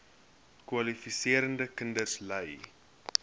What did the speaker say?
kwalifiserende kinders ly